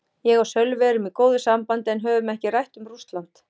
Ég og Sölvi erum í góðu sambandi en höfum ekkert rætt um Rússland.